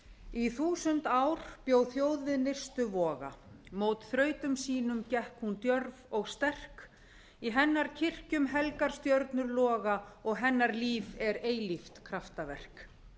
í þúsund ár bjó þjóð við nyrstu voga í hennar kirkjum helgar stjörnur loga og hennar líf er eilíft kraftaverk